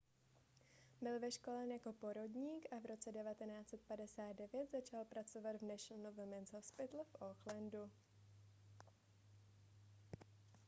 byl vyškolen jako porodník a v roce 1959 začal pracovat v national women's hospital v aucklandu